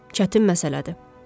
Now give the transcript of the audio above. Çətin məsələdir.